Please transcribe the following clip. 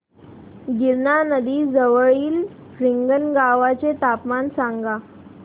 गिरणा नदी जवळील रिंगणगावाचे तापमान सांगा